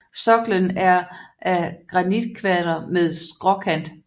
Soklen er af granitkvadre med skråkant